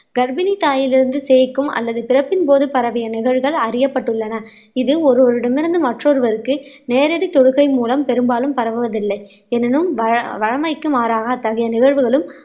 கர்ப்பிணி தாயிலிருந்து சேய்க்கும் அல்லது பிறப்பின் போது பரவிய நிகழ்வுகள் அறியப்பட்டுள்ளன இது ஒருவரிடமிருந்து மற்றொருவருக்கு நேரடி தொடுகை மூலம் பெரும்பாலும் பரவுவதில்லை எனினும் வள வளமைக்கு மாறாக அத்தகைய நிகழ்வுகளும்